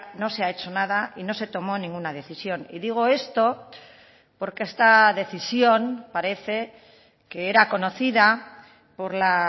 no se ha hecho nada y no se tomó ninguna decisión y digo esto porque esta decisión parece que era conocida por la